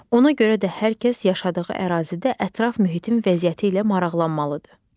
Ona görə də hər kəs yaşadığı ərazidə ətraf mühitin vəziyyəti ilə maraqlanmalıdır.